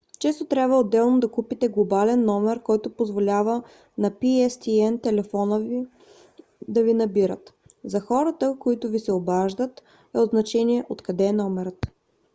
често трябва отделно да купите глобален номер който позволява на pstn телефони да ви набират. за хората които ви се обаждат е от значение откъде е номерът